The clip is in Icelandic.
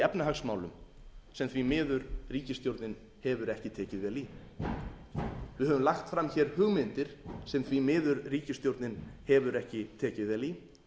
efnahagsmálum sem því miður ríkisstjórnin hefur ekki tekið vel í við höfum lagt fram hér hugmyndir sem því miður ríkisstjórnin hefur ekki tekið vel í